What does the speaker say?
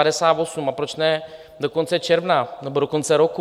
A proč ne do konce června nebo do konce roku?